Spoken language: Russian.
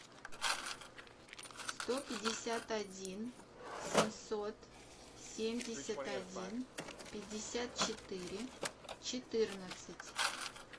сто пятьдесят один семьсот семьдесят один пятьдесят четыре четырнадцать